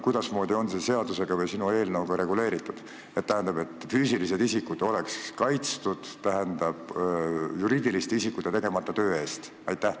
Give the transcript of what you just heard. Kuidasmoodi on see sinu eelnõuga reguleeritud, et füüsilised isikud oleks kaitstud juriidiliste isikute tegemata töö eest?